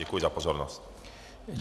Děkuji za pozornost.